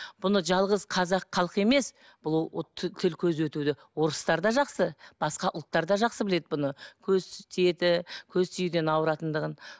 бұны жалғыз қазақ халқы емес бұл тіл көз өтуді орыстар да жақсы басқа ұлттар да жақсы біледі бұны көз тиеді көз тиюден ауыратындығын